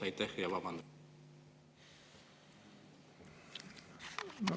Aitäh ja vabandan!